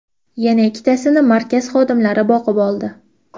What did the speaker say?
Yana ikkitasini markaz xodimlari boqib oldi.